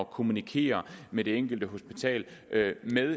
kommunikere med det enkelte hospital